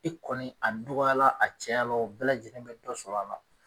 I kɔni a dɔgɔya la a cɛya la bɛɛ lajɛlen bi dɔ sɔrɔ a la